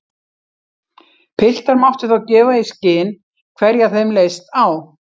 Piltar máttu þá gefa í skyn hverja þeim leist á.